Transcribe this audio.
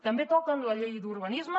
també toquen la llei d’urbanisme